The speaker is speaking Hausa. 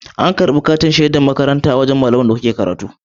A karbi katin shedar makaranta a wajan malaman gidan da kuke karatu